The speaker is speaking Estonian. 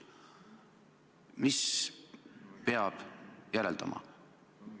Mida peab sellest järeldama?